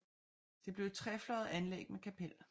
Det blev et trefløjet anlæg med kapel